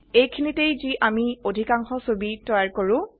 এইখিনিতেই যি আমি অধিকাংশ ছবি তৈয়াৰ কৰো